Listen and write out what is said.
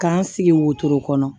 K'an sigi wotoro kɔnɔ